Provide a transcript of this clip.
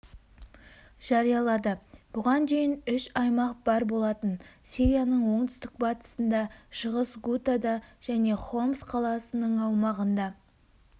жариялады бұған дейін үш аймақ бар болатын сирияның оңтүстік-батысында шығыс гутада және хомс қаласының аумағында